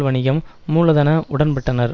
வணிகம் மூலதன உடன்பட்டனர்